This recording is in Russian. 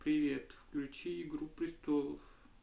привет включи игру престолов